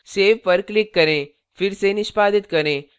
save पर click करें फिर से निष्पादित करें